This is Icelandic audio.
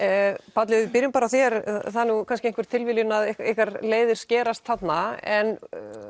Páll ef við byrjum bara á þér það er kannski einhver tilviljun að ykkar leiðir skerast þarna en